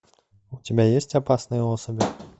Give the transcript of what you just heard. у тебя есть опасные особи